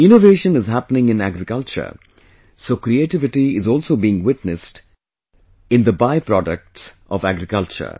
Innovation is happening in agriculture, so creativity is also being witnessed in the byproducts of agriculture